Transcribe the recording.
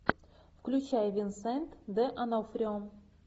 включай винсент д онофрио